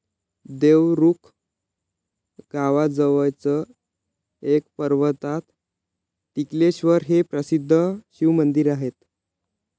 देवरुख गावाजवळच एका पर्वतात टिकलेश्वर हे प्रसिद्ध शिवमंदिर आहे.